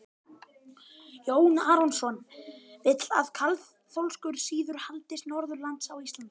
Jón Arason vill að kaþólskur siður haldist norðanlands á Íslandi.